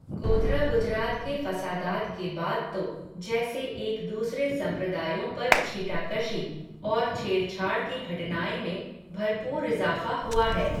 गोधरा गुजरात के फ़सादात के बाद तो, जैसे एक दूसरे सम्प्रदायों पर छीटाकशी, और छेड़छाड़ की घटनाएं में, भरपूर इज़ाफ़ा हुआ है